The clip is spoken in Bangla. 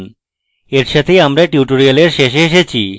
এর সাথেই এই tutorial শেষে এসেছি